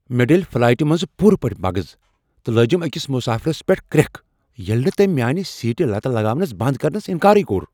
مےٚ ڈٔلۍ فلایٹہ منٛز پوٗرٕ پٲٹھۍ مغز تہٕ لٲجم أکس مسٲفرس پیٹھ کرٛیکھ ییٚلہ نہٕ تٔمۍ میانہِ سیٹہِ لتہٕ لگاونہ بند کرنس انکار کوٚر۔